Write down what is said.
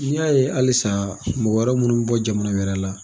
N'i y'a ye halisa mɔgɔ wɛrɛ minnu mi bɔ jamana wɛrɛ la